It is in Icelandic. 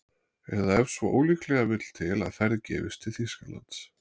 Eða ef svo ólíklega vill til að ferð gefist til Þýskalands